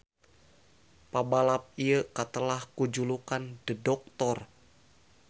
Pabalap ieu katelah ku julukan The Doctor.